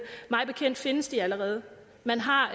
mig bekendt findes de allerede man har